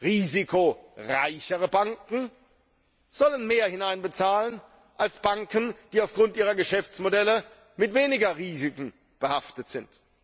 Risikoreichere Banken sollen mehr einbezahlen als Banken, die aufgrund ihrer Geschäftsmodelle mit weniger Risiken behaftet sind.